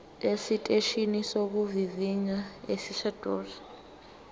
esiteshini sokuvivinya esiseduze